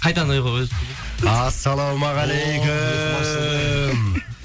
ассалаумағалейкум